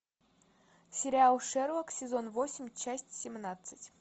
сериал шерлок сезон восемь часть семнадцать